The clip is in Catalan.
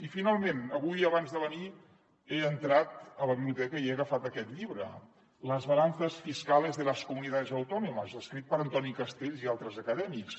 i finalment avui abans de venir he entrat a la biblioteca i he agafat aquest llibre las balanzas fiscales de las comunidades autónomas escrit per antoni castells i altres acadèmics